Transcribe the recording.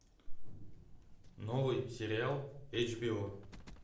новый сериал эйч би о